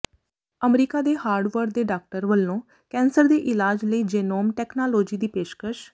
America ਦੇ Harvard ਦੇ doctor ਵੱਲੋਂ ਕੈਂਸਰ ਦੇ ਇਲਾਜ ਲਈ ਜੇਨੋਮ ਟੈਕਨਾਲੋਜੀ ਦੀ ਪੇਸ਼ਕਸ਼